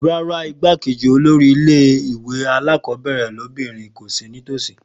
Rárá igbákejì olórí ilé ìwé alákọ̀ọ́bẹ̀rẹ̀ lóbìnrin kò sì ní tòsí